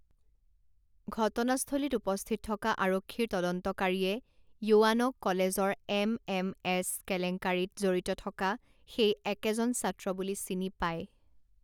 ঘটনাস্থলীত উপস্থিত থকা আৰক্ষীৰ তদন্তকাৰীয়ে য়ুৱানক কলেজৰ এম এম এছ কেলেংকাৰিত জড়িত থকা সেই একেজন ছাত্ৰ বুলি চিনি পায়।